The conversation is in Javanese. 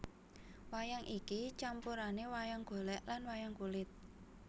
Wayang iki campurane wayang golek lan wayang kulit